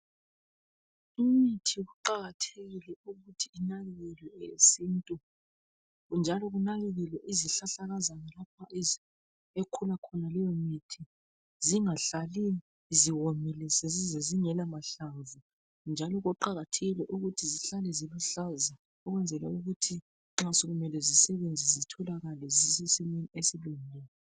Imithi kuqakathekile ukuthi inakakelwe esintwini njalo kunakakelwe izihlahlakazana lapha ezikhula ekhula khona leyo mithi zingahlali ziwomile sezize zingelamahlamvu njalo kuqakathekile ukuthi zihlale zimafulawuzi ukwenzela ukuthi nxa sokumele zisebenze zisesimeni esilungileyo